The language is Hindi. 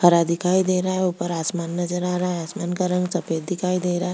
हरा दिखाई दे रहा है ऊपर आसमान नजर आ रहा है आसमान का रंग सफ़ेद दिखाई दे रहा है।